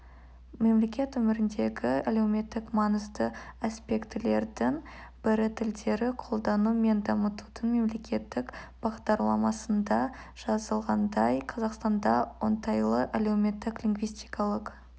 мемлекет өміріндегі әлеуметтік маңызды аспектілердің бірі тілдерді қолдану мен дамытудың мемлекеттік бағдарламасында жазылғандай қазақстанда оңтайлы әлеуметтік-лингвистикалық